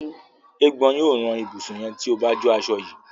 Eégbọn yíò ràn ibusùn yén tíó bá jọ aṣọ yí